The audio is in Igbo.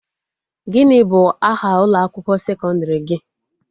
Gịnị bụ aha ụlọ akwụkwọ sekọndrị gị?